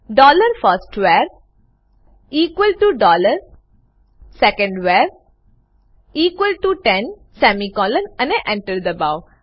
dollar first var equal to dollar second var equal to ten semicolon અને Enter દબાઓ